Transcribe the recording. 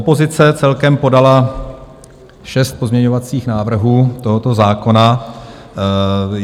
Opozice celkem podala šest pozměňovacích návrhů tohoto zákona.